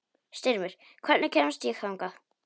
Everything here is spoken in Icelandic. Styrmir, hvernig kemst ég þangað?